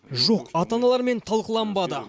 жоқ ата аналармен талқыланбады